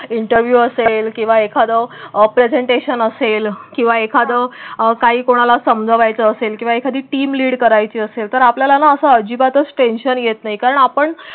Interview असेल किंवा एखादं प्रेझेंटेशन असेल किंवा एखादं काही कोणाला समजायचं असेल किंवा एखादी टीम लीड करायची असेल तर आपल्याला ना असं अजिबातच टेंशन येत नाही. कारण आपण.